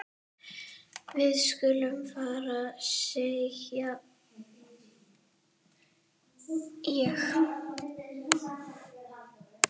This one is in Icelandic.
Við skulum fara sagði ég.